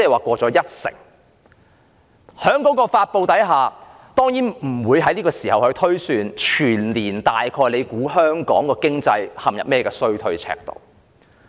在這種情況下，陳茂波司長當然不會推算全年香港經濟會陷入甚麼衰退程度。